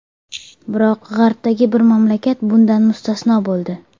Biroq g‘arbdagi bir mamlakat bundan mustasno bo‘ldi.